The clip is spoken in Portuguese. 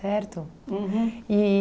Uhum.